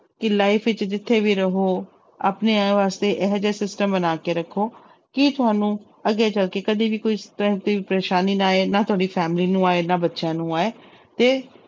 ਕਿ life ਵਿੱਚ ਜਿੱਥੇ ਵੀ ਰਹੋ ਆਪਣੇ ਵਾਸਤੇ ਇਹੋ ਜਿਹਾ system ਬਣਾ ਕੇ ਰੱਖੋ ਕਿ ਤੁਹਾਨੂੰ ਅੱਗੇ ਚੱਲਕੇ ਕਦੇ ਵੀ ਕੋਈ ਪਰੇਸਾਨੀ ਨਾ ਆਏ, ਨਾ ਤੁਹਾਡੀ family ਨੂੰ ਆਏ, ਨਾ ਬੱਚਿਆਂ ਨੂੰ ਆਏ ਤੇ